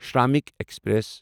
شرٛمٕکۍ express